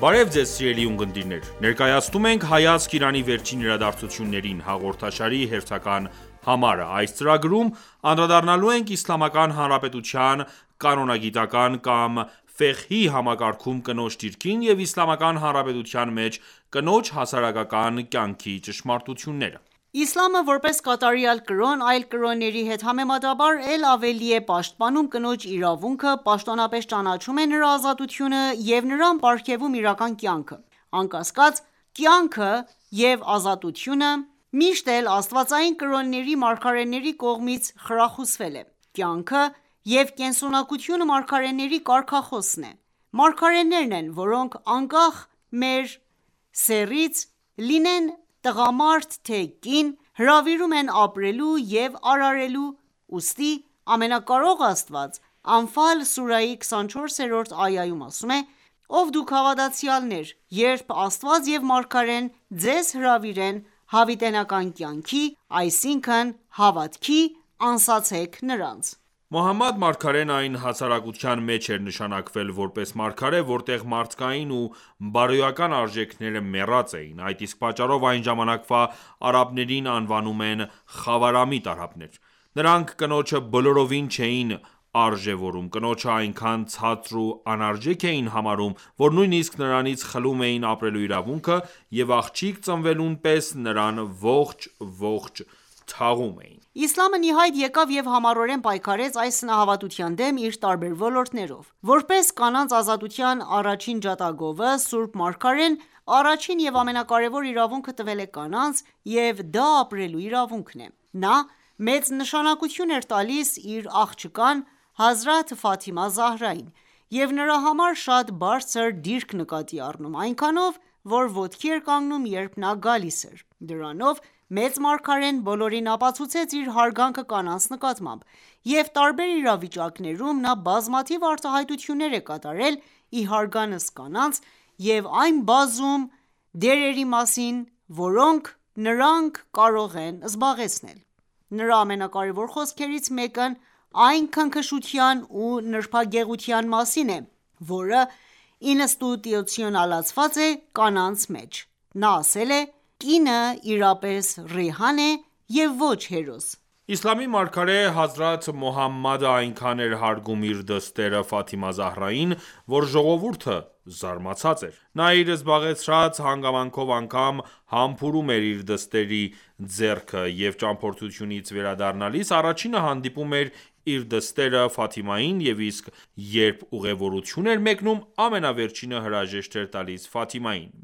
Բարև Ձեզ սիրելի ունկնդիրներ, ներկայացնում ենք «Հայացք Իրանի վերջին իրադարձություններին» հաղորդաշարի հերթական համարը:Այս ծրագրում անդրադառնալու ենք Իսլամական հանրապետության կրոնագիտկան կամ համակարգում կնոջ դիրքին եւ Իսլամական հանրապետության մեջ կնոջ հասարակական կյանքի ճշմարտություններին: Իսլամը ,որպես կատարյալ կրոն, այլ կրոնների հետ համեմատաբար էլ ավելի է պաշտպանում կնոջ իրավունքը ,պաշտոնապես ճանաչում է նրա ազատությունը և նրան պարգևում իրական կյանքը: Անկասկած ,«կյանքը»և «ազատությունը»միշտ էլ Աստվածային կրոնների մարգարեների կողմից խրախուսվել է: Կյանքը և կենսունակությունը մարգարեների կարգախոսն է: Մարգարեներն են ,որոնք անկախ մեր սեռից լինենք տղամարդ թե՝ կին, հրավիրում են ապրելու և արարելու, ուստի ամենակարող Աստված «Անֆալ»սուրահի 24-րդ այայում ասում է.«Ով դուք հավատացյալներ, երբ Աստված և մարգարեն ձեզ հրավիրեն հավիտենական կյանքի(այսինքն հավատքի) ,անսացեք նրանց...»: Մոհամմադ մարգարեն այն հասարակության մեջ էր նշանակվել որպես մարգարե, որտեղ մարդկային և բարոյական արժեքները մեռած էին, այդ իսկ պատճառով այն ժամանակվա արաբներին անվանում են խավարամիտ արաբներ: Նրանք ,կնոջը բոլորովին չէին արժևորում, կնոջը այնքան ցածր ու անարժեք էին համարում, որ նույնիսկ նրանից խլում էին ապրելու իրավունքը և աղջիկ ծնվելուն պես նրան ողջ-ողջ թաղում էին: Իսլամն ի հայտ եկավ և համառորեն պայքարեց այս սնահավատության դեմ՝ իր տարբեր ոլորտներով: Որպես կանանց ազատության առաջին ջատագովը, Սուրբ Մարգարեն, առաջին և ամենակարևոր իրավունքը տվել է կանանց և դա ապրելու իրավունքն է։ Նա մեծ նշանակություն էր տալիս իր աղջկան՝ Հազրաթ Ֆաթիմա Զահրային, և նրա համար շատ բարձր դիրք նկատի առնում, այնքանով, որ ոտքի էր կանգնում ,երբ նա գալիս էր: Դրանով մեծ Մարգարեն բոլորին ապացուցեց իր հարգանքը կանանց նկատմամբ, և տարբեր իրավիճակներում նա բազմաթիվ արտահայտություններ է կատարել ի հարգանս կանանց և այն բազում դերերի մասին, որոնք նրանք կարող են զբաղեցնել: Նրա ամենակարեւոր խոսքերից մեկն այն քնքշության ու նրբագեղության մասին է, որը ինստիտուցիոնալացված է կանանց մեջ, նա ասել է.«Կինը իրապես ռեհան է և ոչ հերոս»: Իսլամի մարգարե հազրաթ Մոհամմադը այնքան էր հարգում իր դստերը Ֆաթիմա Զահրային ,որ ժողովուրդը զարմացած էր: Նա իր զբաղեցրած հանգամանքով անգամ ,համբուրում էր իր դստեր ձեռքը և ճամփորդությունից վերադառնալիս առաջինը հանդիպում էր իր դստերը Ֆաթիմային և իսկ երբ ուղևորության էր մեկնում, ամենավերջինը հրաժեշտ էր տալիս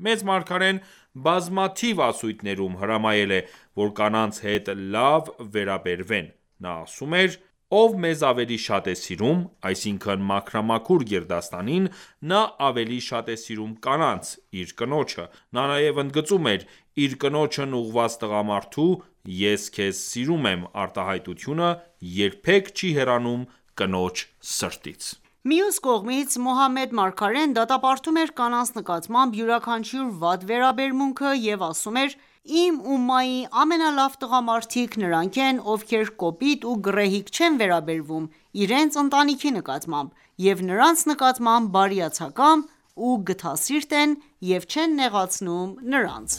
Մեծ մարգարեն բազմաթիվ ասույթներում ,հրամայել է,որ կանանց հետ լավ վերաբերվեն։ Նա ասում էր.« Ով մեզ ավելի շատ է սիրում (այսինքն մաքրամաքուր գերդաստանին), նա ավելի շատ է սիրում կանանց (իր կնոջը)»:Նա նաև ընդգծում էր.«Իր կնոջն ուղղված տղամարդու «Ես քեզ սիրում եմ» արտահայտությունը երբեք չի հեռանում կնոջ սրտից»»։ Մյուս կողմից, Մոհամմադ Մարգարեն դատապարտում էր կանանց նկատմամբ յուրաքանչյուր վատ վերաբերմունքը և ասում էր .«Իմ ումմայի ամենալավ տղամարդիկ ,նրանք են ովքեր կոպիտ ու գռեհիկ չեն վերաբերվում իրենց ընտանիքի նկատմամբ և նրանց նկատմամբ բարիացակամ ու գթասիրտ են և չեն նեղացնում նրանց»: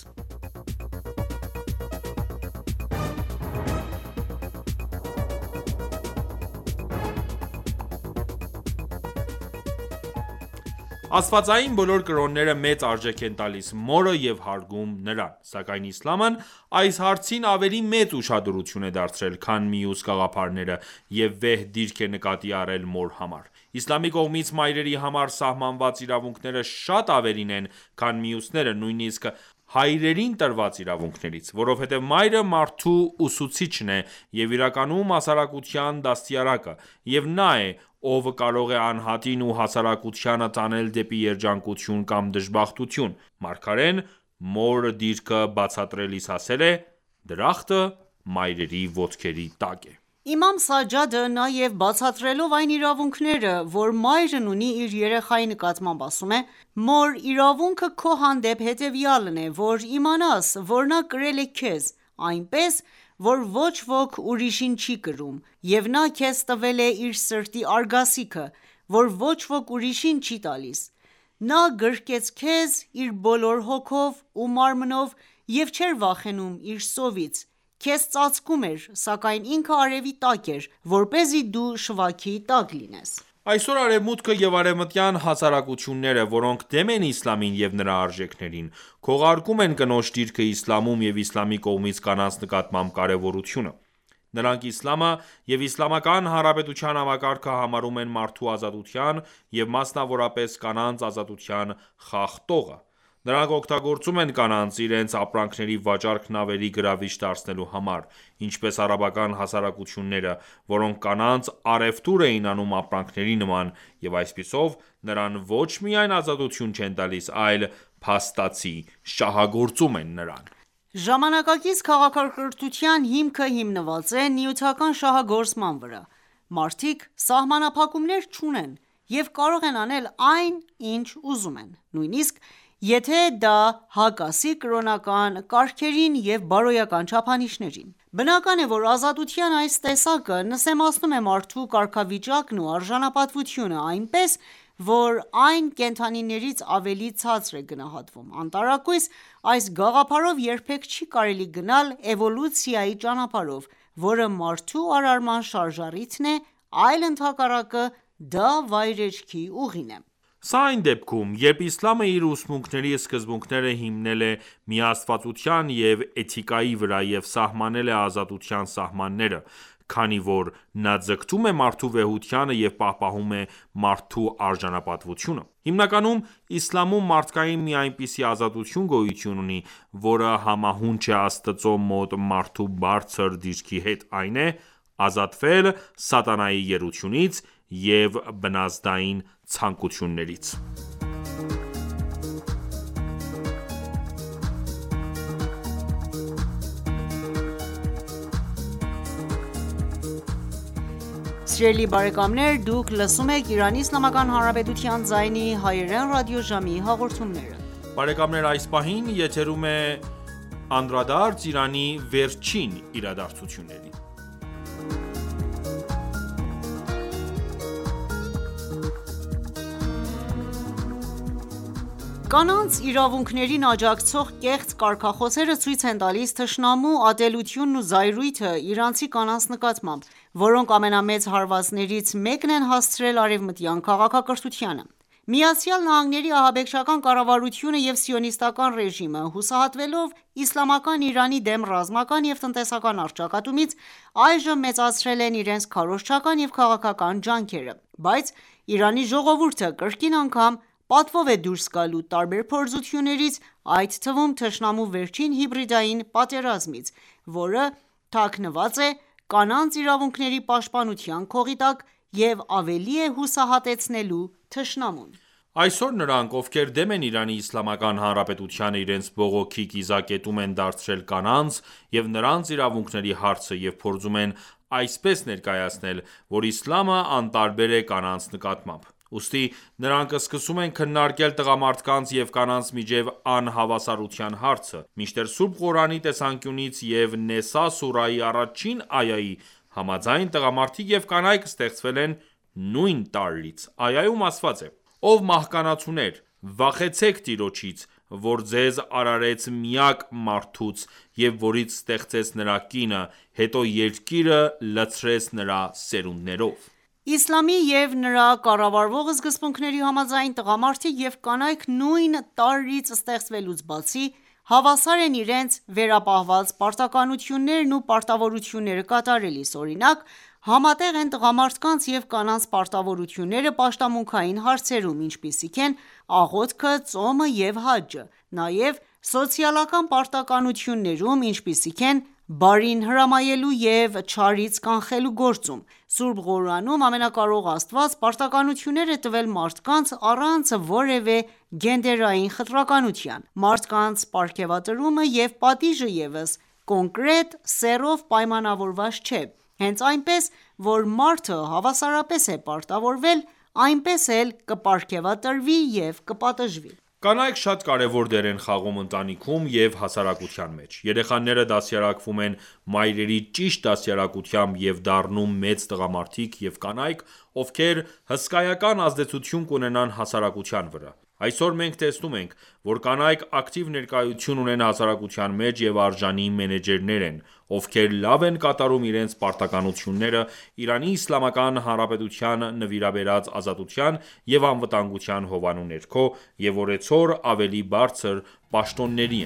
Աստվածային բոլոր կրոնները մեծ արժեք են տալիս մորը և հարգում նրան, սակայն Իսլամն այս հարցին ավելի մեծ ուշադրություն է դարձրել, քան մյուս գաղափարները եւ վեհ դիրք է նկատի առել մոր համար: Իսլամի կողմից մայրերի համար սահմանված իրավունքները շատ ավելին են, քան մյուսներինը, նույնիսկ հայրերին տրված իրավունքներից: Որովհետև մայրը մարդու ուսուցիչն է և իրականում հասարակության դաստիարակը, և նա է, ով կարող է անհատին ու հասարակությանը տանել դեպի երջանկություն կամ դժբախտություն։ Մարգարեն մոր դիրքը բացատրելիս ասել է. «Դրախտը մայրերի ոտքերի տակ է»: Իմամ Սաջադը նաև բացատրելով այն իրավունքները, որ մայրն ունի իր երեխայի նկատմամբ ասում է.« Մոր իրավունքը քո հանդեպ հետևյալն է,որ իմանաս, որ նա կրել է քեզ, այնպես, որ ոչ ոք ուրիշին չի կրում, և նա քեզ տվել է իր սրտի արգասիքը, որ ոչ ոք ուրիշին չի տալիս: Նա գրկեց քեզ իր բոլոր հոգով ու մարմնով և չէր վախենում իր սովից ,քեզ ծածկում էր, սակայն ինքը արևի տակ էր, որպեսզի դու շվաքի տակ լինես»: Այսօր Արևմուտքը և արևմտյան հասարակությունները, որոնք դեմ են իսլամին և նրա արժեքներին, քողարկում են կնոջ դիրքը Իսլամում և իսլամի կողմից կանանց նկատմամբ կարևորությունը: Նրանք իսլամը և Իսլամական Հանրապետության համակարգը համարում են մարդու ազատության և, մասնավորապես, կանանց ազատության խախտողը: Նրանք օգտագործում են կանանց՝ իրենց ապրանքների վաճառքն ավելի գրավիչ դարձնելու համար, ինչպես արաբական հասարակությունները, որոնք կանանց առևտուր էին անում ապրանքների նման, և այսպիսով, նրան ոչ միայն ազատություն չեն տալիս, այլ փաստացի շահագործում են նրան։ Ժամանակակից քաղաքակրթության հիմքը հիմնված է նյութական շահագործման վրա, մարդիկ սահմանափակումներ չունեն և կարող են անել այն, ինչ ուզում են, նույնիսկ եթե դա հակասի կրոնական կարգերին և բարոյական չափանիշներին: Բնական է, որ ազատության այս տեսակը նսեմացնում է մարդու կարգավիճակն ու արժանապատվությունը, այնպես, որ այն կենդանիներից ավելի ցածր է գնահատվում: Անտարակույս այս գաղափարով երբեք չի կարելի գնալ էվոլյուցիայի ճանապարհով, որը մարդու արարման շարժառիթն է, այլ ընդհակառակը, դա վայրեջքի ուղին է։ Սա այն դեպքում, երբ Իսլամը իր ուսմունքների սկզբունքները հիմնել է միաստվածության և էթիկայի վրա և սահմանել է ազատության սահմանները, քանի որ նա ձգտում է մարդու վեհությանը և պահպանում է մարդու արժանապատվությունը: Հիմնականում Իսլամում մարդկային մի այնպիսի ազատություն գոյություն ունի, որը համահունչ է Աստծու մոտ մարդու բարձր դիրքի հետ, այն է՝ «ազատվել սատանայի գերությունից և բնազդային ցանկություններից»։ Կանանց իրավունքներին աջակցող կեղծ կարգախոսները ցույց են տալիս թշնամու ատելությունն ու զայրույթը իրանցի կանանց նկատմամբ, որոնք ամենամեծ հարվածներից մեկն են հասցրել արևմտյան քաղաքակրթությանը։ ԱՄՆ-ի ահաբեկչական կառավարությունը և սիոնիստական ​​ռեժիմը, հուսահատվելով Իսլամական Իրանի դեմ ռազմական և տնտեսական առճակատումից, այժմ մեծացրել են իրենց քարոզչական և քաղաքական ջանքերը։ Բայց Իրանի ժողովուրդը կրկին անգամ պատվով է դուրս գալու տարբեր փորձություններից, այդ թվում՝ թշնամու վերջին հիբրիդային պատերազմիցը, որը թաքնված է կանանց իրավունքների պաշտպանության քողի տակ, և ավելի է հուսահատեցնելու թշնամուն: Այսօր նրանք, ովքեր դեմ են Իրանի Իսլամական Հանրապետությանը, իրենց բողոքի կիզակետում են դարձրել կանանց և նրանց իրավունքների հարցը և փորձում են այսպես ներկայացնել, որ իսլամը անտարբեր է կանանց նկատմամբ: Ուստի նրանք սկսում են քննարկել տղամարդկանց և կանանց միջև անհավասարության հարցը: Մինչդեռ Սուրբ Ղուրանի տեսանկյունից և Նեսա սուրահի առաջին այայի համաձայն տղամարդիկ և կանայք ստեղծվել են նույն տարրից: Այայում ասված է,-«Ով մահկանացուներ, վախեցեք տիրոջից, որ ձեզ արարեց միակ մարդուց և որից ստեղծեց նրա կինը, հետո երկիրը լցրեց նրա սերունդներով:»: Իսլամի և նրա կառավարող սկզբունքների համաձայն, տղամարդիկ և կանայք նույն տարրից ստեղծվելուց բացի, հավասար են իրենց վերապահված պարտականություններն ու պարտավորությունները կատարելիս: Օրինակ, համատեղ են տղամարդկանց և կանանց պարտականությունները պաշտամունքային հարցերում, ինչպիսիք են աղոթքը, ծոմը և հաջը, նաև սոցիալական պարտականություններում, ինչպիսիք են ՝բարին հրամայելու և չարից կանխելու գործում: Սուրբ Ղուրանում Ամենակարող Աստված պարտականություններ է տվել մարդկանց՝ առանց որևէ գենդերային խտրականության: Մարդկանց պարգևատրումը և պատիժը ևս կոնկրետ սեռով պայմանավորված չէ, հենց այնպես ,որ մարդը հավասարապես է պարտավորվել, այնպես էլ կպարգևատրվի և կպատժվի: Կանայք շատ կարևոր դեր են խաղում ընտանիքում և հասարակության մեջ, երեխաները դաստիարակվում են մայրերի ճիշտ դաստիարակությամբ և դառնում մեծ տղամարդիկ և կանայք, ովքեր հսկայական ազդեցություն կունենան հասարակության վրա: Այսօր մենք տեսնում ենք, որ կանայք ակտիվ ներկայություն ունեն հասարակության մեջ և արժանի մենեջերներ են, ովքեր լավ են կատարում իրենց պարտականությունները Իրանի Իսլամական Հանրապետության նվիրաբերած ազատության և անվտանգության հովանու ներքո և օրեցօր ավելի բարձր պաշտոնների